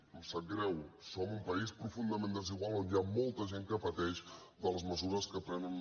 em sap greu som un país profundament desigual on hi ha molta gent que pateix les mesures que prenen